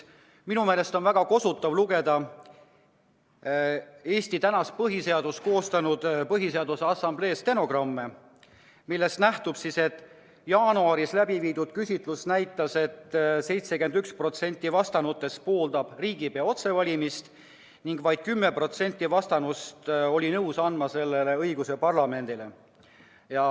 Minu meelest on väga kosutav lugeda Eesti põhiseadust koostanud Põhiseaduse Assamblee stenogramme, millest nähtub, et tolle aasta jaanuaris läbiviidud küsitlus näitas, et 71% vastanutest pooldas riigipea otsevalimist ning vaid 10% vastanutest oli nõus andma selle õiguse parlamendile.